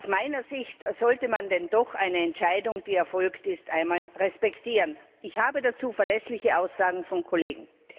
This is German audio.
Aus meiner Sicht sollte man denn doch eine Entscheidung, die erfolgt ist, respektieren. Ich habe dazu verlässliche Aussagen von Kollegen.